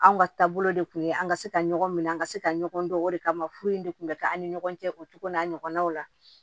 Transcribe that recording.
Anw ka taabolo de tun ye an ka se ka ɲɔgɔn minɛ an ka se ka ɲɔgɔn dɔn o de kama furu in de kun bɛ kɛ an ni ɲɔgɔn cɛ o cogo n'a ɲɔgɔnnaw la